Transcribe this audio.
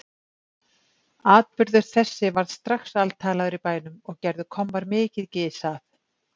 Atburður þessi varð strax altalaður í bænum og gerðu kommar mikið gys að